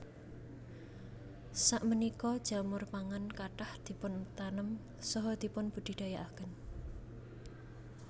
Sapunika jamur pangan kathah dipuntanem saha dipunbudidayakaken